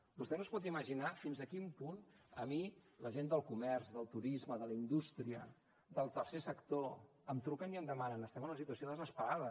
vostè no es pot imaginar fins a quin punt a mi la gent del comerç del turisme de la indústria del tercer sector em truquen i em demanen estem en una situació desesperada